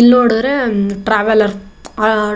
ಇಲ್ ನೋಡಿದ್ರೆ ಟ್ರಾವೆಲ್ಲರ್